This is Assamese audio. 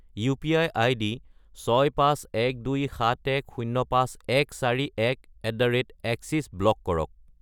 ইউ.পি.আই. আইডি 65127105141@axis ব্লক কৰক।